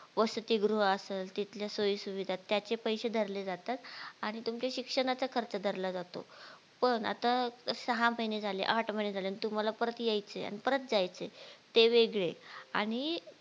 वसतिगृह असेल तिथल्या सोयी सुविधा त्याचे पैसे धरले जातात आणि तुमच्या शिक्षणाचा खर्च धरला जातो पण आता सहा महिने झाले, आठ महीने झाले आणि तुम्हाला परत यायचे आणि परत जायचे ते वेगळे आणि